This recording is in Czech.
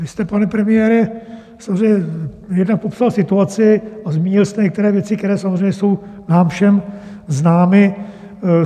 Vy jste, pane premiére, samozřejmě jednak popsal situaci a zmínil jste některé věci, které samozřejmě jsou nám všem známy.